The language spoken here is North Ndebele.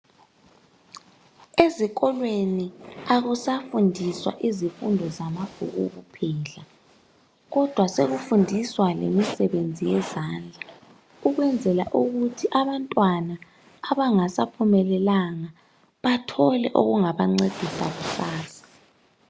Ezikolweni akusafundiswa izifundo zamabhuku kuphela, kodwa sekufundiswa lemisebenzi yezandla ukwenzela ukuthi abantwana abangasaphumelelanga bathole okungabancedisa kusasa.